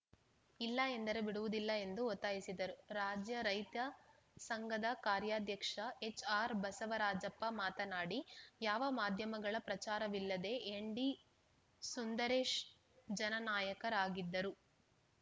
ಇಲ್ಲ ಎಂದರೆ ಬಿಡುವುದಿಲ್ಲ ಎಂದು ಒತ್ತಾಯಿಸಿದರು ರಾಜ್ಯ ರೈತ ಸಂಘದ ಕಾರ್ಯಾಧ್ಯಕ್ಷ ಎಚ್‌ಆರ್‌ಬಸವರಾಜಪ್ಪ ಮಾತನಾಡಿ ಯಾವ ಮಾಧ್ಯಮಗಳ ಪ್ರಚಾರವಿಲ್ಲದೆ ಎನ್‌ಡಿ ಸುಂದರೇಶ್‌ ಜನನಾಯಕರಾಗಿದ್ದರು